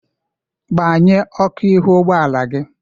Gbanye ọkụ ihu ụgbọala gị!